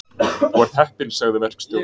Þú ert heppinn sagði verkstjórinn.